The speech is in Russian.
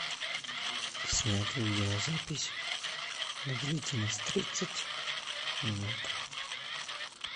снять видеозапись на длительность тридцать минут